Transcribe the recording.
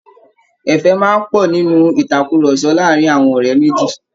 Ẹ̀fẹ̀ máa ń pọ̀ nínú ìtàkurọ̀sọ láàárin àwọn ọ̀rẹ́ méjì